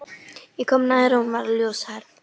Ég kom nær og hún var ljóshærð.